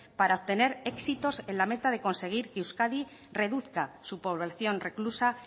para tener éxitos en la meta de conseguir que euskadi reduzca su población reclusa